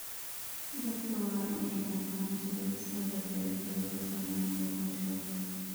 Dadka waa in ay fahmaan sida isbedelka cimiladu u saameynayo noloshooda.